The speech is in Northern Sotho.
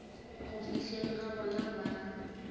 go fihleng ga bona ba